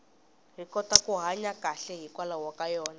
hi kota ku hanya kahle hikwalaho ka yona